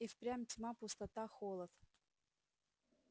и впрямь тьма пустота холод